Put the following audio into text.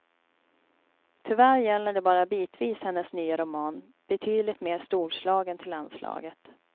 Tyvärr gäller det bara bitvis hennes nya roman, betydligt mer storslagen till anslaget.